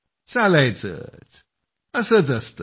चालायचंच असंच असतं